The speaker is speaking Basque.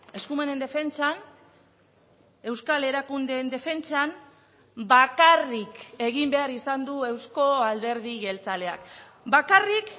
eskumenen defentsan euskal erakundeen defentsan bakarrik egin behar izan du euzko alderdi jeltzaleak bakarrik